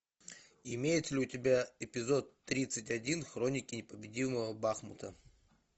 имеется ли у тебя эпизод тридцать один хроники непобедимого бахамута